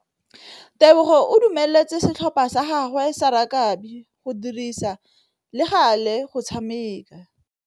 Tebogô o dumeletse setlhopha sa gagwe sa rakabi go dirisa le galê go tshameka.